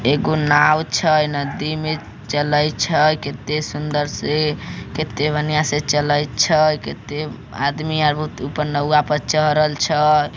एको नाव छै नदी में चलई छै केते सुंदर से केते बढ़िया से चलई छई केते आदमी आगो ऊपर नौआ पर चढ़ल छै।